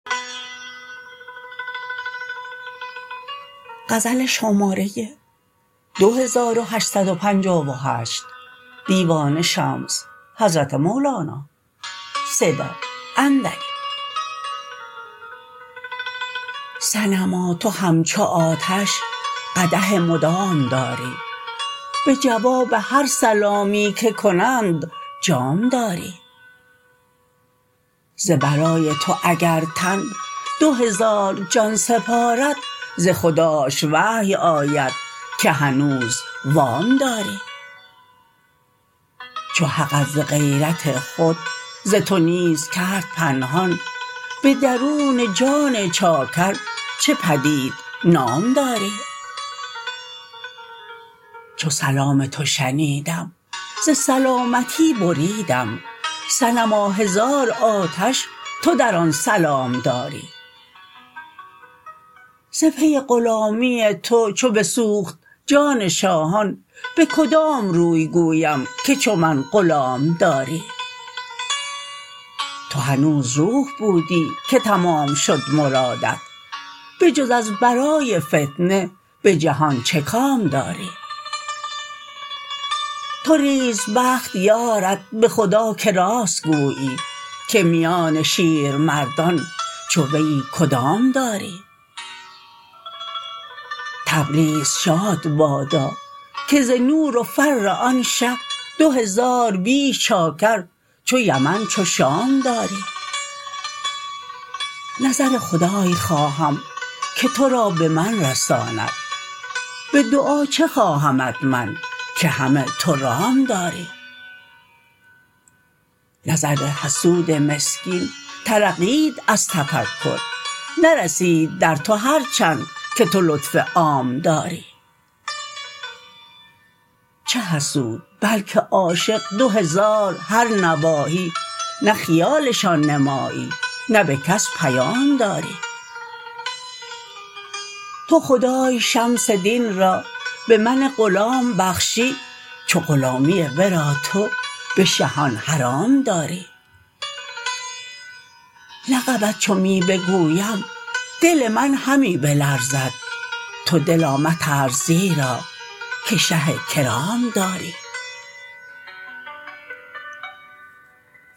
صنما تو همچو آتش قدح مدام داری به جواب هر سلامی که کنند جام داری ز برای تو اگر تن دو هزار جان سپارد ز خداش وحی آید که هنوز وام داری چو حقت ز غیرت خود ز تو نیز کرد پنهان به درون جان چاکر چه پدید نام داری چو سلام تو شنیدم ز سلامتی بریدم صنما هزار آتش تو در آن سلام داری ز پی غلامی تو چو بسوخت جان شاهان به کدام روی گویم که چو من غلام داری تو هنوز روح بودی که تمام شد مرادت بجز از برای فتنه به جهان چه کام داری توریز بخت یارت به خدا که راست گویی که میان شیرمردان چو ویی کدام داری تبریز شاد بادا که ز نور و فر آن شه دو هزار بیش چاکر چو یمن چو شام داری نظر خدای خواهم که تو را به من رساند به دعا چه خواهمت من که همه تو رام داری نظر حسود مسکین طرقید از تفکر نرسید در تو هر چند که تو لطف عام داری چه حسود بلک عاشق دو هزار هر نواحی نه خیالشان نمایی نه به کس پیام داری تو خدای شمس دین را به من غلام بخشی چو غلامیی ورا تو به شهان حرام داری لقبت چو می بگویم دل من همی بلرزد تو دلا مترس زیرا که شه کرام داری